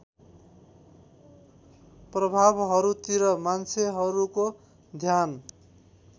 प्रभावहरूतिर मान्छेहरूको ध्यान